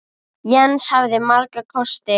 Jens hafði marga kosti.